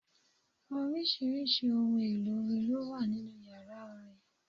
Oríṣiríṣi ohun èlò orin ló wà nínú yàrá orin.